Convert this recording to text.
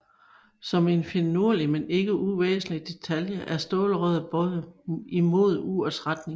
Som en finurlig men ikke uvæsentlig detalje er stålrøret bøjet imod urets retning